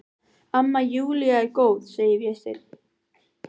Amma Júlía er góð, segir Vésteinn.